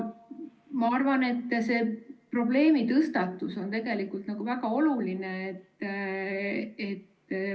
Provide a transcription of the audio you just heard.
Ma arvan, et see probleemitõstatus on tegelikult väga oluline.